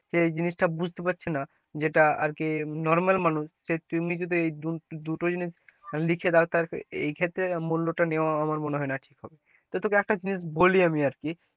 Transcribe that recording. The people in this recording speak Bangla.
সেই এই জিনিস টা বুঝতে পারছে না যেটা আর কি normal মানুষ, সে তেমনি যদি এই দুটো জিনিস লেখে দোও তা এই ক্ষেত্রে মূল্য টা নেয়া আমার মনে হয় না ঠিক হবে, তা তোকে একটা জিনিস বলি আমি আর কি,